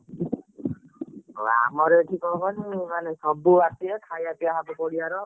ହଁ ଆମର ଏଠି କଣକହନି ମାନେ ସବୁଆସିବେ ଖାଇବା ପିଇବା ହବ ପଡ଼ିଆର।